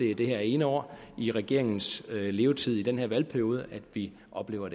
er det her ene år i regeringens levetid i den her valgperiode at vi oplever